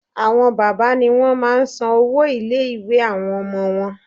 Àwọn bàbá ni wọ́n máa n san owó ilé ìwé àwọn ọmọ wọn